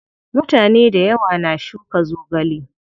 Mutane dayawa na shuka zogale.